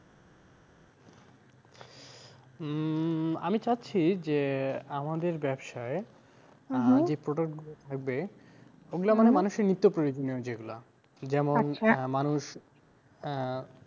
হম আমি চাচ্ছি যে, আমাদের ব্যবসায় product গুলো থাকবে মানে মানুষের নিত্য প্রয়োজনীয় যেগুলা, যেমন আহ